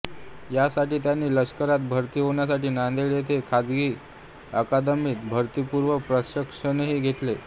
या साठी त्यांनी लष्करात भरती होण्यासाठी नांदेड येथे खाजगी अकादमीत भरतीपूर्व प्रशिक्षणही घेतले